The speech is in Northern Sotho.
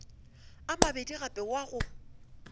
a mabedi gape wa go